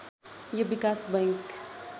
यो विकास बैङ्क